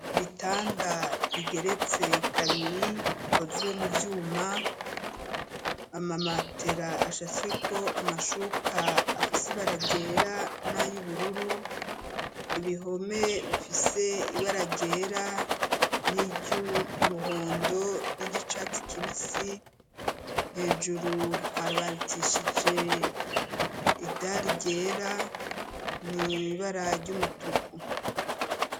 Ibitanda bigeretse kabiri bikozwe mu vyuma, amamatera ashashweko amashuka afise ibara ryera n'ayubururu. Ibihome bifise ibara ryera n'iryumuhondo, n'iryicatsi kibisi hejuru harabatishije idari ryera n'ibara ry'umutuku.